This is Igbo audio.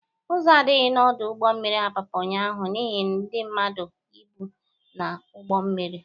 Ụzọ adịghị n'ọdụ ụgbọ mmiri Apapa ụnyaahụ n'ihe ndị mmadụ, ịbụ na ụgbọ mmiri